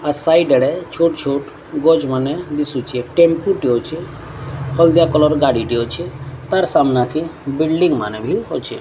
ମୋ ସାଇଡ ଡେ ଛୁଟ୍ ଛୁଟ୍ ଗଜ୍ ମାନେ ଦିଶୁଛେ ଟେମ୍ପୁ ଟେ ଅଛି ହଳଦିଆ କଲର୍ ଗାଡ଼ି ଟେ ଅଛି ତାର ସାମ୍ନା କେ ବିଲଡିଂ ମାନେ ବି ଅଛି।